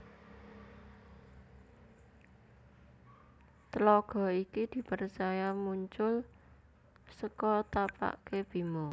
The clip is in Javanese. Tlaga iki di percaya muncul seko tapakke Bima